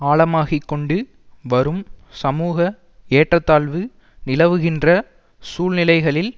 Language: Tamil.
ஆழமாகிக் கொண்டு வரும் சமூக ஏற்ற தாழ்வு நிலவுகின்ற சூழ்நிலைகளில்